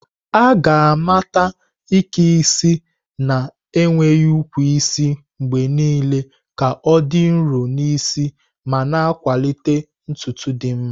A ga-amata Ike isi na-enweghị ukwu isi mgbe niile ka ọ dị nro n'isi ma na-akwalite ntutu dị mma.